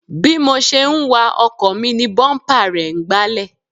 Bí mo ṣe ń wa ọkọ̀ mi ni búḿpà rẹ̀ ń gbálẹ̀